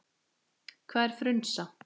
Hvað er frunsa?